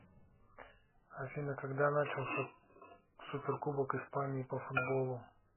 афина когда начался суперкубок испании по футболу